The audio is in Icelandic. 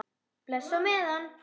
Bless á meðan.